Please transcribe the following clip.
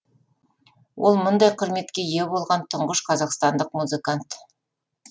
ол мұндай құрметке ие болған тұңғыш қазақстандық музыкант